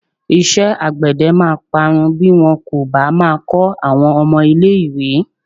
Iṣẹ́́ àgbède máa parun bí wọn kò bá máa kọ́ àwọn ọmọ ilé-ìwé.